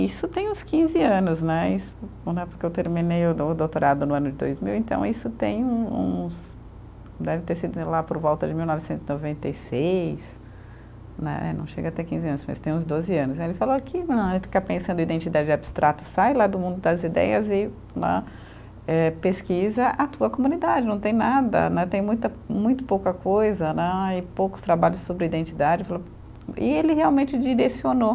Isso tem uns quinze anos né, é porque eu terminei o dou o doutorado no ano de dois mil, então isso tem um uns, deve ter sido lá por volta de mil novecentos e noventa e seis né, não chega a ter quinze anos, mas tem uns doze anos, aí ele falou que ficar pensando em identidade abstrata, sai lá do mundo das ideias e eh pesquisa a tua comunidade, não tem nada né, tem muito pouca coisa né, e poucos trabalhos sobre identidade, e ele realmente direcionou